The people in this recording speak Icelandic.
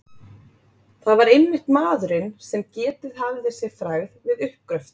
Það var einmitt maðurinn, sem getið hafði sér frægð við uppgröft